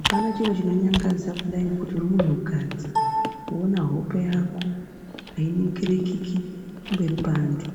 Apana chiro chinonyangadza kudai ngekuti uri muntukadzi woona hope yako ainingirikiki pamberi peantu